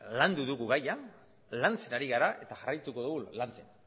landu dugu gaia lantzen ari gara eta jarraituko dugu lantzen